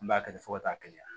N b'a kɛ fo ka t'a kɛ yan